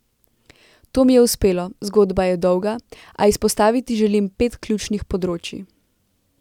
To mi je uspelo, zgodba je dolga, a izpostaviti želim pet ključnih področij.